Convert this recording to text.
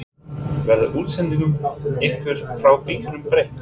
Verður útsendingum ykkar frá bikarnum breytt?